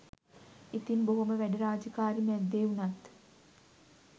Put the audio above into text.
ඉතින් බොහොම වැඩ රාජකාරි මැද්දෙ වුනත්